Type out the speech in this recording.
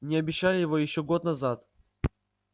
мне обещали его ещё год назад